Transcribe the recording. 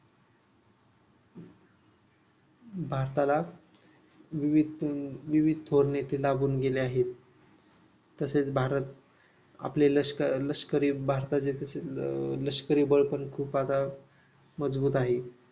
भारताला विविध अं विविध थोर नेते लाभून गेले आहेत तसेच भारत आपले लष्करी भारताचे प्रसिद्ध लष्करी बळ पण खूप आता मजबूत आहे.